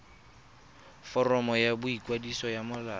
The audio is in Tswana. foromo ya boikwadiso ya molao